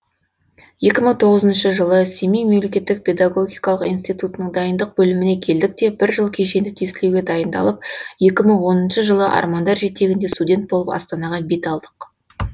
екі мың тоғызыншы жылы семей мемлекеттік педагогикалық институтының дайындық бөліміне келдік те бір жыл кешенді тестілеуге дайындалып екі мың оныншы жылы армандар жетегінде студент болып астанаға бет алдық